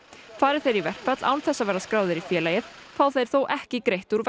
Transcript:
fari þeir í verkfall án þess að vera skráðir í félagið fá þeir þó ekki greitt úr